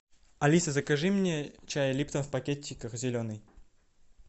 алиса закажи мне чай липтон в пакетиках зеленый